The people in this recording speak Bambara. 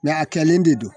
a kɛlen de don